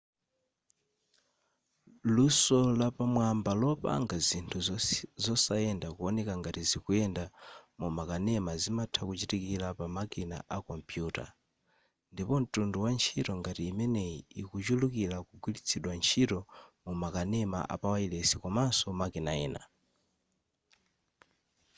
luso lapamwamba lopanga zinthu zosayenda kuoneka ngati zikuyenda mumakanema zimatha kuchitikira pamakina akompuyuta ndipo mtundu wa ntchito ngati imeneyi ikuchulukira kugwiritsidwa ntchito mumakanema apawayilesi komaso makanema ena